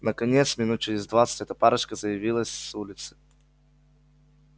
наконец минут через двадцать эта парочка заявилась с улицы